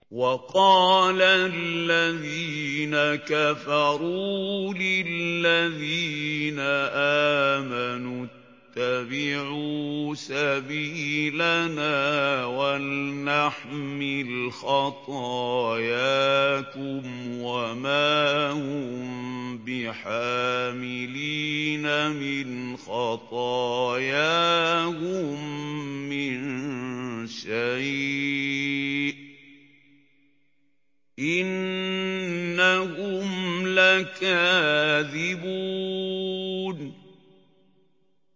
وَقَالَ الَّذِينَ كَفَرُوا لِلَّذِينَ آمَنُوا اتَّبِعُوا سَبِيلَنَا وَلْنَحْمِلْ خَطَايَاكُمْ وَمَا هُم بِحَامِلِينَ مِنْ خَطَايَاهُم مِّن شَيْءٍ ۖ إِنَّهُمْ لَكَاذِبُونَ